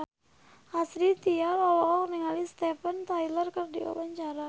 Astrid Tiar olohok ningali Steven Tyler keur diwawancara